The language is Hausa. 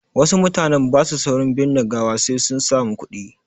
Wasu mutanen ba su saurin binne gawa sai sun samu kuɗi.